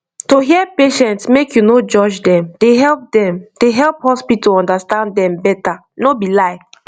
to hear patient make you no judge dem dey help dem dey help hospital understand dem better no be lie